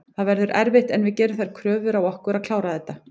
Það verður erfitt en við gerum þær kröfur á okkur að klára þetta.